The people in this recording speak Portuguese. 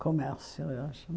Comércio, eu acho.